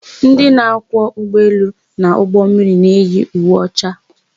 Ndị na-akwọ ụgbọelu na ụgbọmmiri na-eyi uwe ọcha.